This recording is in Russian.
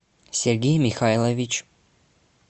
сергей михайлович